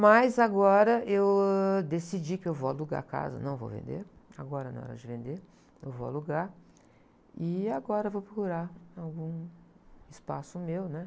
Mas agora eu, ãh, decidi que eu vou alugar a casa, não vou vender, agora não é hora de vender, eu vou alugar e agora vou procurar algum espaço meu, né?